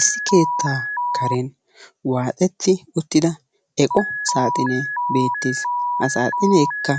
Issi keettaa karen waaxetti uttida eqo saaxinee beettes. Ha saaxineekka